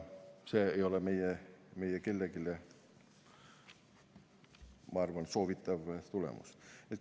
See ei ole meile kellelegi, ma arvan, soovitud tulemus.